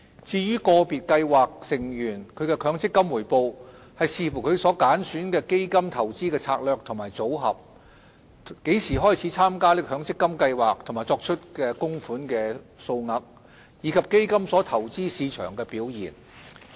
至於個別計劃成員的強積金回報，視乎他們揀選的基金投資策略和組合、何時開始參加強積金計劃和作出供款的數額，以及基金所投資市場的表現而定。